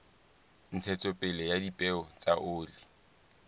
ntshetsopele ya dipeo tsa oli